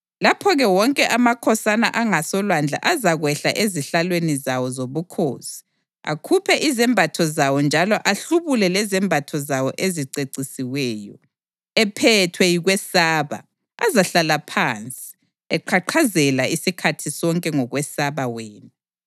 Lapho-ke wonke amakhosana angasolwandle azakwehla ezihlalweni zawo zobukhosi akhuphe izembatho zawo njalo ahlubule lezembatho zawo ezicecisiweyo. Ephethwe yikwesaba, azahlala phansi, eqhaqhazela isikhathi sonke, ngokwesaba wena.